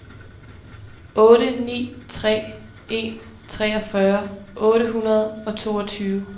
otte ni tre en treogfyrre otte hundrede og toogtyve